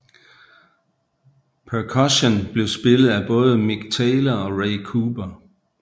Perkussion blev spillet af både Mick Taylor og Ray Cooper